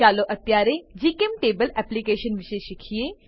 ચાલો અત્યારે જીચેમ્ટેબલ એપ્લીકેશન વિશે શીખીએ